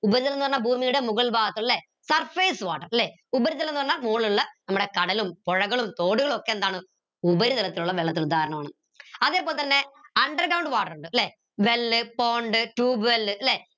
ഉപരിതലം ന്ന് പറഞ്ഞ ഭൂമിയുടെ മുകൾ ഭാഗത്ത് ല്ലെ surface water ല്ലെ ഉപരിതലം ന്ന് പറഞ്ഞ മോള് ഇള്ള നമ്മുടെ കടലും പുഴകളും തോടുകളും ഒക്കെ എന്താണ് ഉപരിതലത്തിലുള്ള വെള്ളത്തിന് ഉദാഹരണമാണ് അതേപോലെതന്നെ underground water ഇണ്ട് ല്ലെ well pond tubewell ല്ലെ